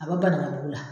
A bɛ ban ka bo la